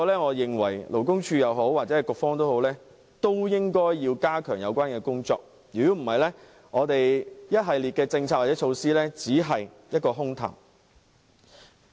我認為勞工處或局方也要加強有關工作，否則，一系列的政策或措施只會流於空談。